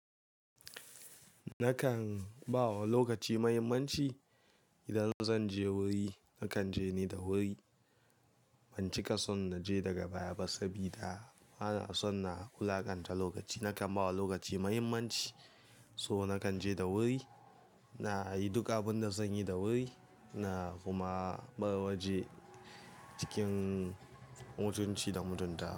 Nakan ba wa lokaci muhimmanci. Idan zan je wuri nakan je ne da wuri. Ban cika son na je daga baya ba saboda bana son na wulaƙanta lokaci. Nakan ba wa lokaci muhimmanci, so nakan je da wuri, na yi duka abin da zan yi da wuri na kuma bar waje cikin mutunci da mutunta.